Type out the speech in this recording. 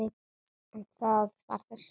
En það var þess virði.